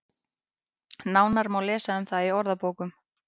Nánar má lesa um það í orðabókum.